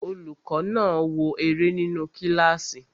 Olùkọ́ náà ń wo eré nínu kílásì